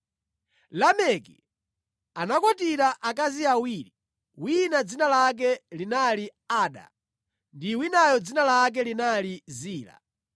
Lameki anakwatira akazi awiri, wina dzina lake linali Ada ndi winayo dzina lake linali Zila.